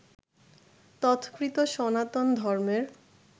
তৎকৃত সনাতন ধর্মের